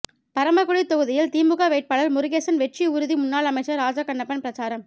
பரமக்குடி தொகுதியில் திமுக வேட்பாளர் முருகேசன் வெற்றி உறுதி முன்னாள் அமைச்சர் ராஜகண்ணப்பன் பிரசாரம்